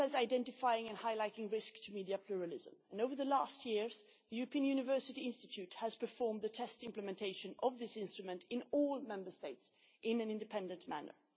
aims to identify and highlight risk to media pluralism and over recent years, the European University Institute has performed the test implementation of this instrument in all Member States in an independent manner.